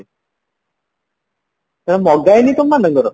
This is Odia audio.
ମଗା ହେଇନି ତମମାନଙ୍କର